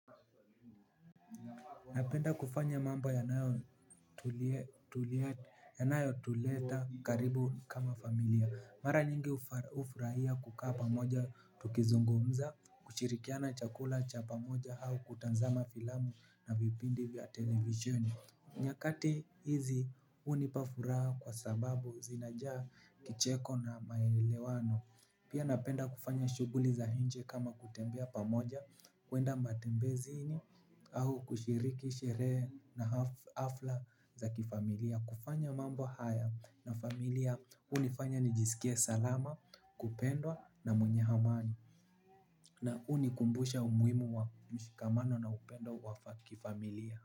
Napenda kufanya mambo yanayo tuleta karibu kama familia. Mara nyingi ufuraia kukaa pamoja tukizungumza. Kushirikiana chakula cha pamoja au kutazama filamu na vipindi vya televisheni nyakati hizi unipa furaha kwa sababu zinajaa kicheko na maelewano. Pia napenda kufanya shuguli za inje kama kutembea pamoja kuenda matembezini au kushiriki, sherehe na hafla za kifamilia. Kufanya mambo haya na familia unifanya nijisikie salama, kupendwa na mwenye amani. Na unikumbusha umihimu wa mshikamano na upendo wakifamilia.